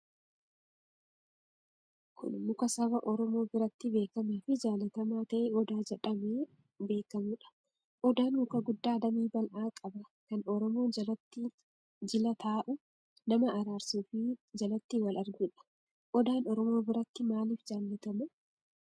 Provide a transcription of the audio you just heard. Kun muka saba Oromoo biratti beekamaafi jaallatamaa ta'e Odaa jedhamee beekamuudha. Odaan muka guddaa damee bal'aa qaba kan Oromoon jalatti jila taa'u, nama araarsuufi jalatti wal arguudha. Odaan Oromoo biratti maaliif jaallatama?